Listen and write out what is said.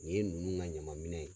Nin ye nunnu na ɲaman minɛn ye